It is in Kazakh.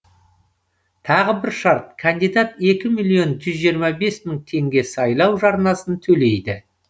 тағы бір шарт кандидат екі миллион жүз жиырма бес мың теңге сайлау жарнасын төлейді